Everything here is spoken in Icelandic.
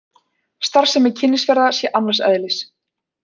Starfsemi Kynnisferða sé annars eðlis